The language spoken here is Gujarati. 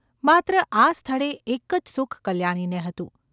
માત્ર આ સ્થળે એક જ સુખ કલ્યાણીને હતું.